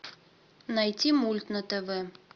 найти мульт на тв